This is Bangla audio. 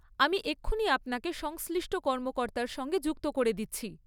আমি এক্ষুনি আপনাকে সংশ্লিষ্ট কর্মকর্তার সঙ্গে যুক্ত করে দিচ্ছি।